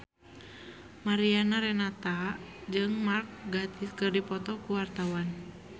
Mariana Renata jeung Mark Gatiss keur dipoto ku wartawan